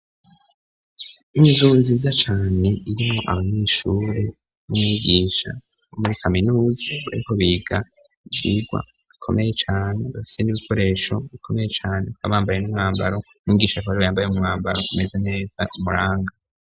Inzu nziza cane irimwo abanyeshure n'umwigisha bo muri kaminuzi bariko biga ivyigwa bikomeye cane, bafise n'ibikoresho bikomeye cane babambaye n'umwambaro umwigisha kubera yambare n'mwambaro umeza neza umuranga.